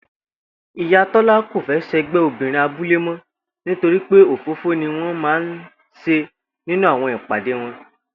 Ìyá Tó̩lá kò fé̩ s̩e̩gbé̩ obìnrin abúlé mó̩ nítorí pé òfófó ni wó̩n máa ń s̩e nínú àwo̩n ìpàdé wo̩n